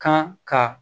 Kan ka